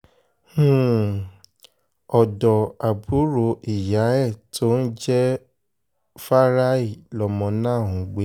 um ọ̀dọ́ àbúrò ìyá ẹ̀ tó ń jẹ́ um fáráì lọmọ náà ń gbé